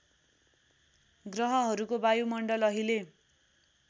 ग्रहहरूको वायुमण्डल अहिले